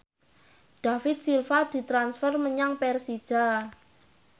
David Silva ditransfer menyang Persija